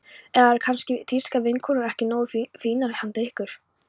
Eða eru kannski þýskar vinnukonur ekki nógu fínar handa ykkur?